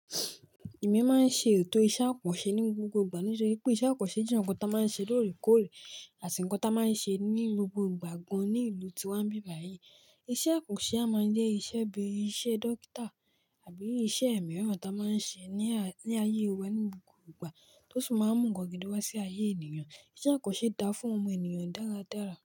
Èmi máa ń ṣe ètò iṣẹ́ àkànṣe ní gbogbo ìgbà. Ní ṣe pé iṣẹ́ àkànṣe jẹ́ ohun tí a máa ń ṣe lóòrèkóòrè àti nǹkan tí a máa ń ṣe ní gbogbo ìgbà gan ní ìlú tí wàá bí báyìí. Iṣẹ́ àkànṣe a máa ń jẹ́ iṣẹ́ bí i iṣẹ́ dókítà àbí iṣẹ́ ẹ̀ mìíràn tí a máa ń ṣe ní, ní ayé wa ní gbogbo ìgbà tó sì máa ń mú nnkan gidi wá sí ayé ènìyàn. Iṣẹ́ àkànṣe dá fún ọmọ ènìyàn dáradára.